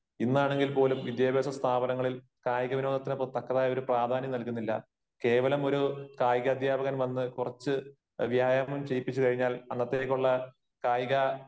ഇന്നാണെങ്കിൽ പോലും വിദ്യാഭ്യാസ സ്ഥാപനങ്ങളിൽ കായിക വിനോദത്തിന് തക്കതായ ഒരു പ്രാധാന്യം നൽകുന്നില്ല. കേവലം ഒരു കായികാധ്യാപകൻ വന്ന് കുറച്ച് വ്യായാമം ചെയ്യിപ്പിച്ചു കഴിഞ്ഞാൽ അന്നത്തേക്കുള്ള കായിക